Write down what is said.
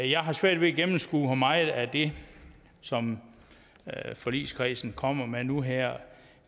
jeg har svært ved at gennemskue hvor meget af det som forligskredsen kommer med nu her